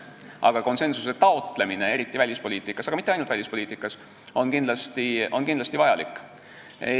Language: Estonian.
Aga konsensuse taotlemine, eriti välispoliitikas, ent mitte ainult välispoliitikas, on kindlasti vajalik.